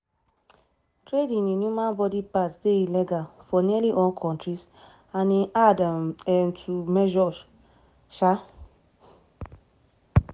trading in human body parts dey illegal for nearly all kontris and e dey hard um to measure. um